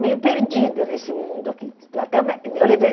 meio perdida nesse mundo aqui. Até eu me ah eu levei